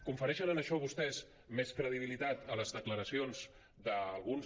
confereixen a això vostès més credibilitat a les declaracions d’alguns